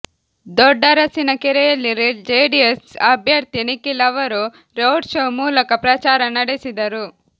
ದೊಡ್ಡರಸಿನಕೆರೆಯಲ್ಲಿ JDS ಅಭ್ಯರ್ಥಿ ನಿಖೀಲ್ ಅವರು road show ಮೂಲಕ ಪ್ರಚಾರ ನಡೆಸಿದರು